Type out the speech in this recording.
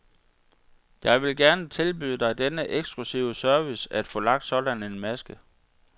Jeg vil gerne tilbyde dig denne eksklusive service at få lagt sådan en maske.